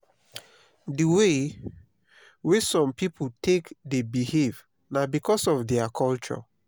di way wey some pipo take dey behave na because of their culture